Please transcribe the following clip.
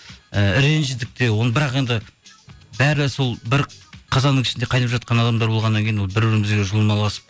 і ренжідік те оны бірақ енді бәрі сол бір қазанның ішінде қайнап жатқан адамдар болғаннан кейін бір бірімізбен жұлмаласып